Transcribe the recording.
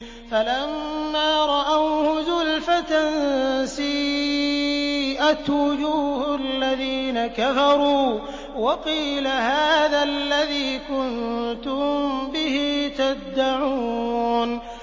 فَلَمَّا رَأَوْهُ زُلْفَةً سِيئَتْ وُجُوهُ الَّذِينَ كَفَرُوا وَقِيلَ هَٰذَا الَّذِي كُنتُم بِهِ تَدَّعُونَ